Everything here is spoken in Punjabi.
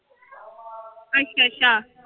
ਅੱਛਾ ਅੱਛਾ।